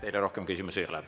Teile rohkem küsimusi ei ole.